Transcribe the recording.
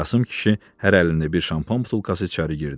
Qasım kişi hər əlində bir şampan butulkası içəri girdi.